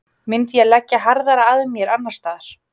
Myndi ég leggja harðar að mér annarsstaðar?